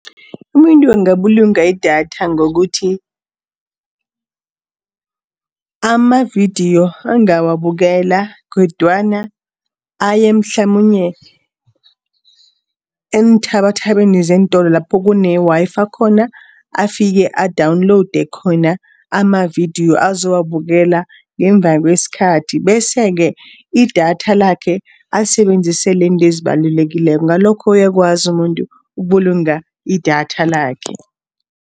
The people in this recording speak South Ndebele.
Umuntu angabulunga idatha ngokuthi, amavidiyo angawabukela kodwana aye mhlamunye eenthabathabeni zeentolo lapho kune-Wi-Fi khona. Afike a-download khona amavidiyo azowabukela, ngemva kwesikhathi. Bese-ke idatha lakhe alisebenzisele izinto ezibalulekileko. Ngalokho uyakwazi umuntu ukubulunga idatha lakhe.